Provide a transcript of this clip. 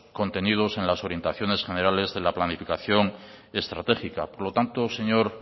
contenidos en las orientaciones generales en la planificación estratégica por lo tanto señor